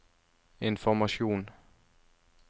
informasjon